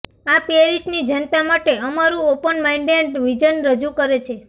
આ પેરિસની જનતા માટે અમારું ઓપન માઇન્ડેડ વિઝન રજૂ કરે છે